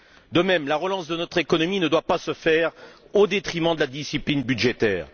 De même, la relance de notre économie ne doit pas se faire au détriment de la discipline budgétaire.